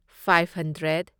five hundred